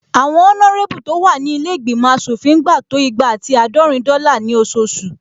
Àwọn ọnárébù tó wà ní ilé ìgbìmọ̀ aṣòfin ń gba to igba ati àádọ́rin dọ́là ní ososù